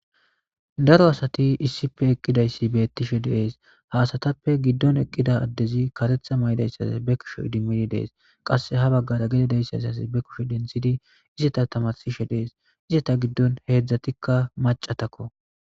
Daro asati issippe eqidaysi betishe de'es ha asatappe gidon eqida adezi karetha mayidaysazi ba kushe idimidi de'es qase ha bagara gede de'izaysazi be kushe izeta tamarsishe de'es izeta gidon hezatika macatako